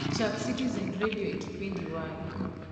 chak citizen redio e kipindi y.